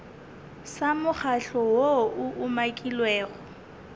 sa mokgatlo woo o umakilwego